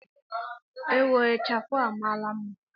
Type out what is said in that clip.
Ewo! Ichafụ a amaala mma.